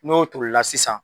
N'o tolila sisan